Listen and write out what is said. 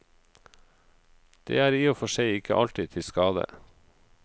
Det er i og for seg ikke alltid til skade.